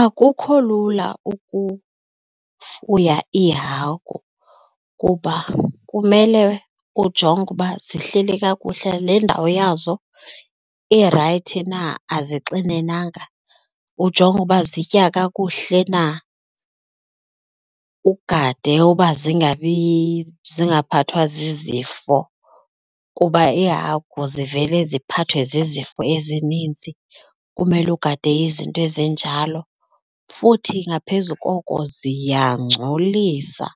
Akukho lula ukufuya iihagu kuba kumele ujonge uba zihleli kakuhle. Le ndawo yazo irayithi na, azixinenanga, ujonge uba zitya kakuhle na, ugade uba zingabi zingaphathwa zizifo kuba iihagu zivele ziphathwe zizifo ezininzi kumele ugade izinto ezinjalo futhi ngaphezu koko ziyangcolisa,